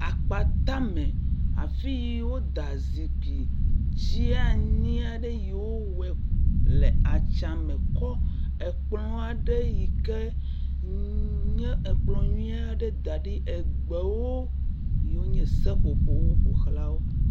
Akpata me. Afi yi woda zikpui dzeani aɖe yi wowɔ le atsa me kɔ ekplɔ aɖe yi ke nye ekplɔ nyui aɖe da ɖi. egbewo yiwo nye seƒopƒowo ƒoxla wo.